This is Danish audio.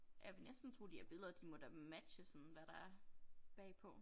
Jeg vil næsten tro de her billeder de må da matche sådan hvad der er bagpå